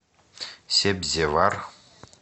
себзевар